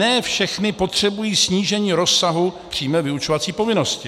Ne všechny potřebují snížení rozsahu přímé vyučovací povinnosti.